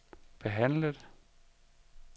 behandlet